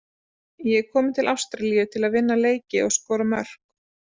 Ég er kominn til Ástralíu til að vinna leiki og skora mörk.